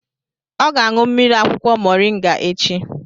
Ọ ga-aṅụ mmiri akwụkwọ Mọrịnga echi